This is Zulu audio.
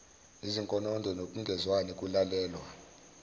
izinkonondo nokungezwani kulalelwa